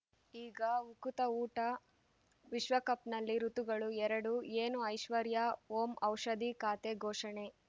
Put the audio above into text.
ಈಗ ಉಕುತ ಊಟ ವಿಶ್ವಕಪ್‌ನಲ್ಲಿ ಋತುಗಳು ಎರಡು ಏನು ಐಶ್ವರ್ಯಾ ಓಂ ಔಷಧಿ ಖಾತೆ ಘೋಷಣೆ